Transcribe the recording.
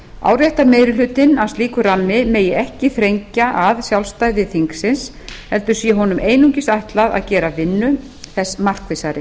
áréttar meiri hlutinn að slíkur rammi megi ekki þrengja að sjálfstæði þingsins heldur sé honum einungis ætlað að gera vinnu þess markvissari